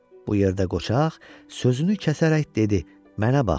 Bu yerdə qocaq sözünü kəsərək dedi: Mənə bax.